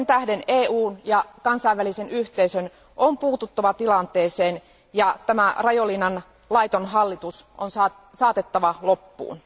Sen tähden EUn ja kansainvälisen yhteisön on puututtava tilanteeseen, ja tämä Rajoelinan laiton hallitus on saatettava loppuun.